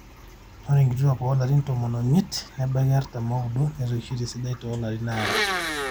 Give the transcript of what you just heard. ore nkituaak oolarin tomon oimiet nebaiki artam ooudo netoishote esidai toolarin aare